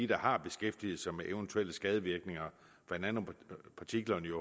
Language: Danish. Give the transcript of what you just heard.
der har beskæftiget sig med eventuelle skadevirkninger blandt andet partiklerne